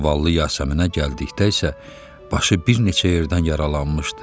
Zavallı Yasəminə gəldikdə isə, başı bir neçə yerdən yaralanmışdı.